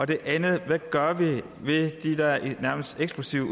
det andet er hvad gør vi ved den nærmest eksplosive